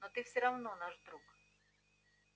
но ты все равно наш друг